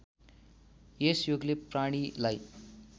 यस योगले प्राणीलाई